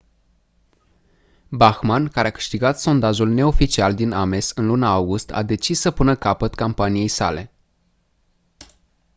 bachmann care a câștigat sondajul neoficial din ames în luna august a decis să pună capăt campaniei sale